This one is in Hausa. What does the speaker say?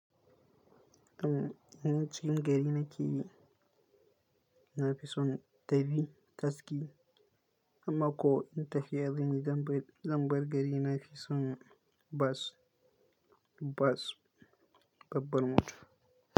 Anan cikin gari na ke, na fi son tafi gaski amma ko in tafiya zanyi zanbar gari na fi son bus, bus babbar mota.